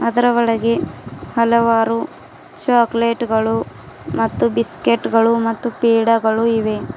ಅದರ ಒಳಗೆ ಹಲವರು ಚಾಕಲೇಟ್ ಗಳು ಮತ್ತು ಬಿಸ್ಕ್ಯೂಟ್ಗ ಳು ಮತ್ತು ಪೇಡಾಗಳು ಇವೆ.